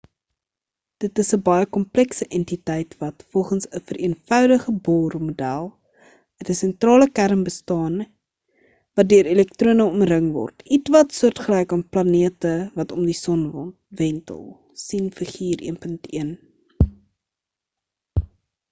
dit is 'n baie komplekse entiteit wat volgens 'n vereenvoudige bohr model uit 'n sentrale kern bestaan wat deur elektrone omring word ietwat soortgelyk aan planete wat om die son wentel sien figuur 1.1